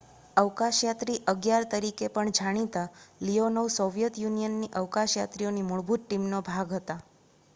"""અવકાશયાત્રી 11" તરીકે પણ જાણીતા લીયોનોવ સોવિયેત યુનિયનની અવકાશયાત્રીઓની મૂળભૂત ટીમનો ભાગ હતા.